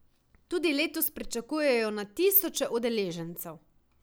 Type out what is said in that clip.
Tudi letos pričakujejo na tisoče udeležencev.